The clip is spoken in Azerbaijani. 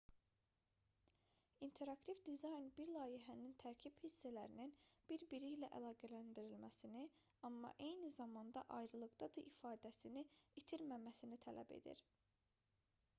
i̇nteraktiv dizayn bir layihənin tərkib hissələrinin bir-biri ilə əlaqələndirilməsini amma eyni zamanda ayrılıqda da ifadəsini itirməməsini tələb edir